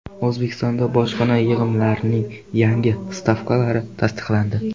O‘zbekistonda bojxona yig‘imlarining yangi stavkalari tasdiqlandi.